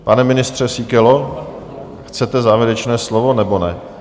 Pane ministře Síkelo, chcete závěrečné slovo, nebo ne?